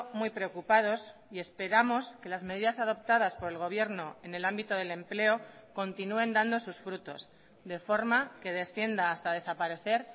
muy preocupados y esperamos que las medidas adoptadas por el gobierno en el ámbito del empleo continúen dando sus frutos de forma que descienda hasta desaparecer